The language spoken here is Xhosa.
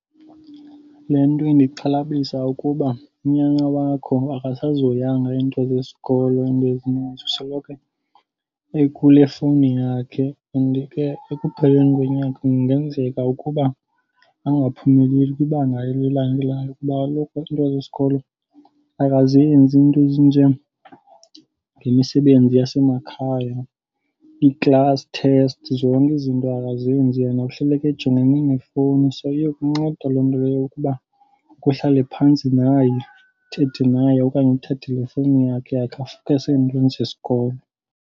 Le nto indixhalabisa ukuba unyana wakho akasazihoyanga iinto zesikolo iinto ezininzi. Usoloko ekule fowuni yakhe and ke ekupheleni konyaka kungenzeka ukuba angaphumeleli kwibanga elilandelayo. Kuba kaloku into zesikolo akazenzi iinto ezinjengemisebenzi yasemakhaya, ii-class test. Zonke izinto akazenzi, yena uhleleke ejongene nefowuni. So iyokunceda loo nto leyo yokuba uke uhlale phantsi naye uthethe naye okanye uthathe le efowunini yakhe ake afowukhase ezintweni zesikolo.